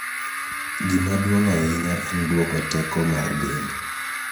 Gima duong' ahinya en duoko teko mar del